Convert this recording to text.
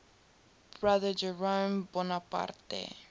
brother jerome bonaparte